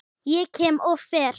Ég kem, og ég fer.